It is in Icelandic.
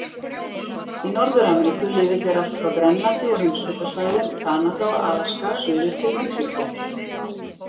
Í Norður-Ameríku lifðu þeir allt frá Grænlandi og heimskautasvæðum Kanada og Alaska suður til Mexíkó.